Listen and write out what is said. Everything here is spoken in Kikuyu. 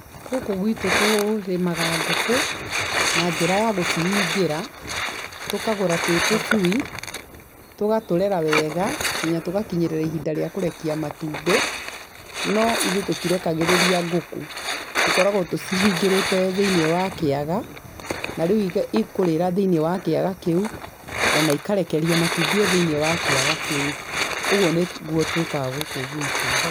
Gũkũ gwitũ tũrĩmaga ngũkũ, na njĩra ya gũcihingĩra, tũkagũra twĩ tũcui tũgatũrera wega nginya tũgakinyĩrĩra ihinda rĩa kũrekia matumbĩ, no ithuĩ tũtirekagĩrĩria ngũkũ, tũkoragwo tũcihingĩrĩte thĩiniĩ wa kĩaga, na rĩu ikũrĩra thĩiniĩ wa kiaga kĩu, ona ikarekeria matumbĩ thĩiniĩ wa kĩaga kĩu, ũguo nĩguo twĩkaga gũkũ gwitũ.